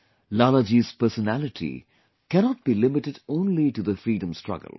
Lala ji's personality cannot be limited only to the freedom struggle